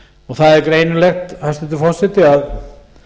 það er greinilegt hæstvirtur forseti að